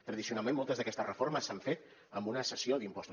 tradicionalment moltes d’aquestes reformes s’han fet amb una cessió d’impostos